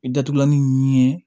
I datugulanni ɲɛ